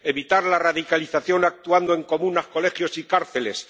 evitar la radicalización actuando en comunas, colegios y cárceles